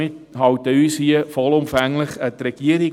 Wir halten uns also hier vollumfänglich an die Regierung.